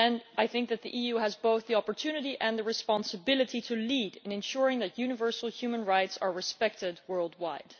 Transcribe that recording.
I think that the EU has both the opportunity and the responsibility to lead in ensuring that universal human rights are respected worldwide.